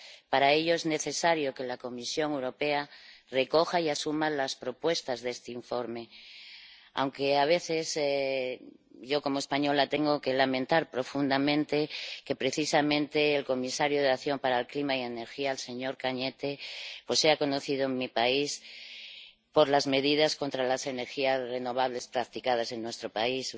Para ello es necesario que la Comisión Europea recoja y asuma las propuestas de este informe, aunque a veces yo, como española, tengo que lamentar profundamente que precisamente el comisario de Acción por el Clima y Energía, el señor Arias Cañete, sea conocido en mi país por las medidas contra las energías renovables practicadas en nuestro país.